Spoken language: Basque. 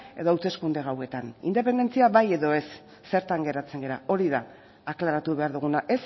edo hauteskunde gauetan independentzia bai edo ez zertan geratzen gara hori da aklaratu behar duguna